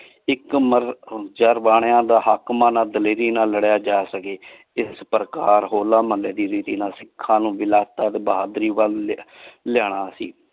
ਇਕ ਮਰ ਚਰ ਬਣਿਆ ਦਾ ਹਕ਼ ਮਨਾ ਦਲੇਰੀ ਨਾਲ ਲੜਿਆ ਜਾ ਸਕੇ ਇਸ ਪ੍ਰਕਾਰ ਹੋਲਾ ਮੋਹਲ੍ਲੇ ਦੀ ਵੀ ਸਿਖਾਂ ਨੂ ਦਿਲਾਸਾ ਬਹਾਦੁਰੀ ਵਾਲ ਲਿਯਾਨਾ ਸੀ ।